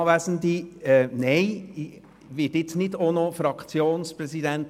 Nein, ich werde nicht auch noch Fraktionspräsident!